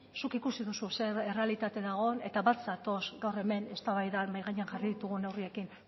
zuk ikusi duzu zer errealitate dagoen eta bat zatoz gaur hemen eztabaidan mahai gainean jarri ditugun neurriekin